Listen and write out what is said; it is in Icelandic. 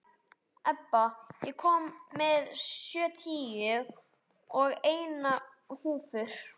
Ebba, ég kom með sjötíu og eina húfur!